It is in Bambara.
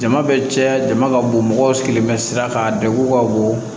Jama bɛ cɛya jama ka bon mɔgɔw sigilen bɛ sira kan a degun ka bon